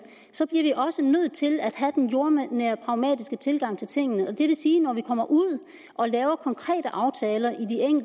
så bliver vi også nødt til at have den jordnære pragmatiske tilgang til tingene det vil sige at når vi kommer ud og laver konkrete aftaler i